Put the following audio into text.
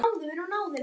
Ein staða var laus.